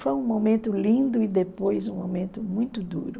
Foi um momento lindo e depois um momento muito duro.